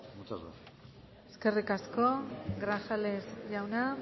muchas gracias eskerrik asko grajales jauna